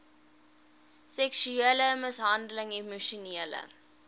seksuele mishandeling emosionele